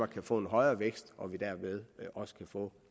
kan få en højere vækst og at vi derved også kan få